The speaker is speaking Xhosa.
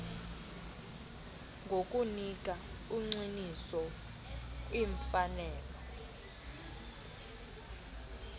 ngokunika ugxininiso kwimfanelo